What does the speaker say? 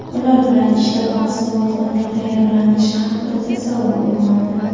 Ular bilan ishlab, mahsulot qanday tayyorlanishi haqida tasavvur uyg‘onadi.